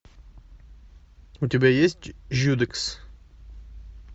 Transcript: у тебя есть жюдекс